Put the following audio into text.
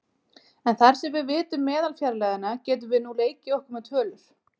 En þar sem við vitum meðalfjarlægðina getum við nú leikið okkur með tölur.